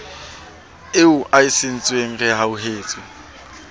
eo a e sietseng rehauhetswe